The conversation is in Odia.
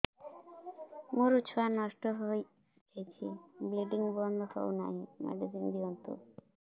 ମୋର ଛୁଆ ନଷ୍ଟ ହୋଇଯାଇଛି ବ୍ଲିଡ଼ିଙ୍ଗ ବନ୍ଦ ହଉନାହିଁ ମେଡିସିନ ଦିଅନ୍ତୁ